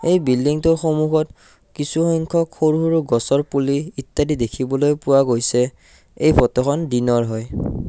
এই বিল্ডিংটোৰ সন্মুখত কিছু সংখ্যক সৰু সৰু গছৰ পুলি ইত্যাদি দেখিবলৈ পোৱা গৈছে এই ফটোখন দিনৰ হয়।